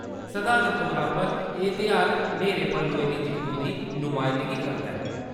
सधारण तौरा पर, एह् तेहार न्हेरे पर लोई दी जित्तु दी नमायंदगी करदा ऐ।